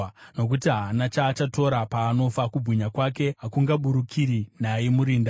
nokuti haana chaachatora paanofa; kubwinya kwake hakungaburukiri naye murinda.